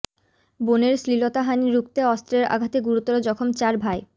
বোনের শ্লীলতাহানি রুখতে অস্ত্রের আঘাতে গুরুতর জখম চার ভাই